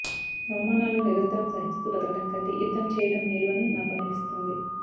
అవమానాలు నిరంతరం సహిస్తూ బతకడం కంటే యుద్ధం చేయడం మేలు అని నాకు అనిపిస్తుంది